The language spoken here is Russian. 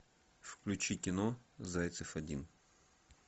включи кино зайцев один